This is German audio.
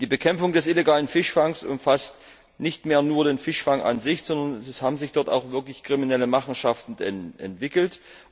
Die Bekämpfung des illegalen Fischfangs umfasst nicht mehr nur den Fischfang an sich, sondern es haben sich dort wirklich kriminelle Machenschaften entwickelt.